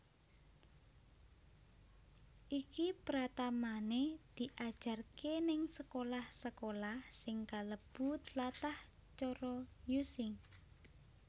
Iki pratamane diajarke ning sekolah sekolah sing kalebu tlatah cara Using